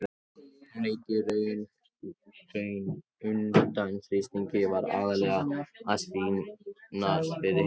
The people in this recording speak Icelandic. Hún lét í raun undan þrýstingi, var aðallega að sýnast fyrir hinum krökkunum.